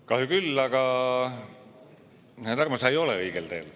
Kahju küll, aga, härra Tarmo, sa ei ole õigel teel.